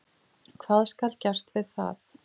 Hvað skal gert við það?